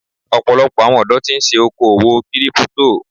Ọ̀pọ̀lọpọ̀ àwọn ọ̀dọ́ tí ń ṣe okòwò Kírípútò.